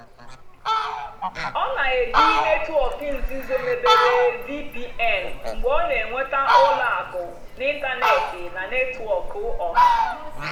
ọ́ nà-èjì nétwọ́ọ̀kụ́ nzìzó mébéré (vpn) mgbe ọ́ nà-ènwètá ùlọ àkụ́ n'ị́ntánètị́ nà nétwọ́kụ̀ ọ́hà.